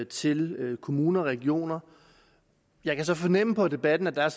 til kommuner og regioner jeg kan så fornemme på debatten at der